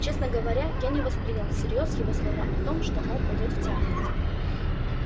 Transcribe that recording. честно говоря я не воспринял всерьёз его слова о том что он пойдёт в театр